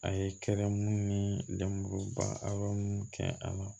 A ye kɛra munnu ni lemuruba a bɛ mun kɛ a la